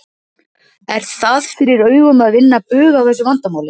Er það fyrir augum að vinna bug á þessu vandamáli?